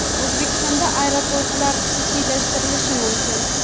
O‘zbekistonda aeroportlar xususiylashtirilishi mumkin.